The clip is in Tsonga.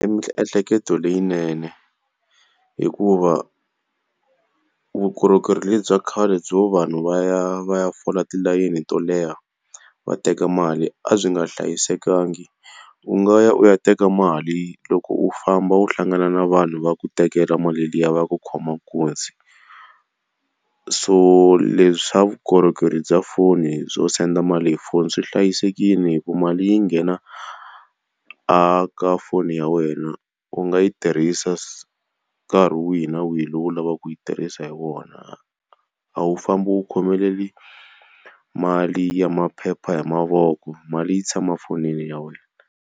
I miehleketo leyinene hikuva vukorhokeri lebyi khale byo vanhu va ya va ya fola tilayini to leha va teka mali a byi nga hlayisekanga. U nga ya u ya teka mali, loko u famba u hlangana na vanhu va ku tekela mali liya va ku khoma nkunzi. So leswi swa vukorhokeri bya foni byo senga mali hi foni swi hlayisekile hikuva mali yi nghena aka foni ya wena. U nga yi tirhisa nkarhi wihi na wihi lowu u lavaka ku yi tirhisa hi wona. A wu fambi u khomelele mali ya maphepha hi mavoko, mali yi tshama fonini ya wena.